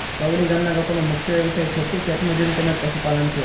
તવડી ગામના લોકોનો મુખ્ય વ્યવસાય ખેતી ખેતમજૂરી તેમ જ પશુપાલન છે